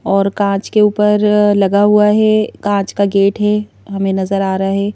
और कांच के ऊपर लगा हुआ है कांच का गेट है हमें नजर आ रहा है।